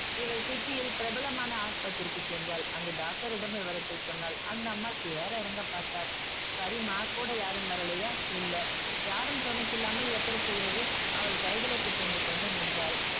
இவள் city யில் பிரபலமான ஆஸ்பத்திரிக்கு சென்றால் அங்கு doctor யிடம் விவரத்தை சொன்னாள் அந்த அம்மாள் ஏற இறங்க பார்த்தார் சரிம்மா கூட யாரும் வரலையா இல்ல யாரும் துணைக்கு இல்லாமல் எப்படி செய்வது அவள் கைகளை பிசைந்து கொண்டு நின்றாள்